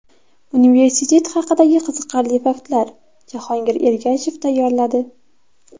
Universitet haqidagi qiziqarli faktlar: Jahongir Ergashev tayyorladi.